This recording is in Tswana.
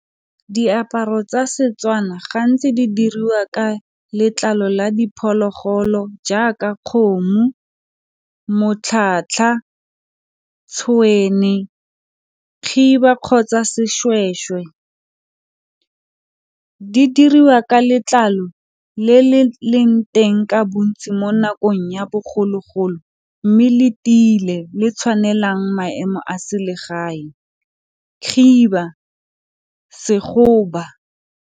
Diaparo tsa Setswana gantsi di diriwa ka letlalo la diphologolo jaaka kgomo, tshwene, khiba kgotsa sešwešwe di diriwa ka letlalo le le leng teng ka bontsi mo nakong ya bogologolo mme le tiile le tshwanelang maemo a selegae, khiba .